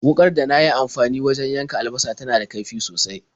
Wuƙar da na yi amfani wajen yanka albasa tana da kaifi sosai.